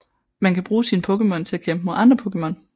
Man kan bruge sine Pokémon til at kæmpe mod andre Pokémon